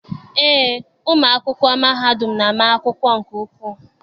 Eé, ụmụ akwụkwọ mahadum na- ama akwụkwọ nke ukwuu